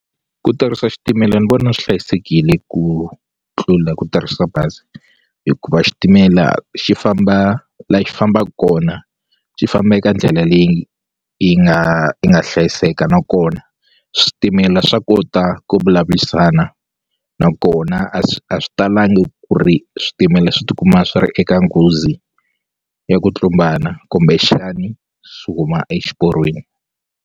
Ku tirhisa xitimela ni vona swi hlayisekile ku tlula ku tirhisa bazi hikuva xitimela xi famba la xi fambaku kona xi famba eka ndlela leyi yi nga yi nga hlayiseka nakona switimela swa kota ku vulavurisana nakona a swi a swi talangi ku ri switimela swi tikuma swi ri eka nghozi ya ku tlumbana kumbexani swi huma exiporweni.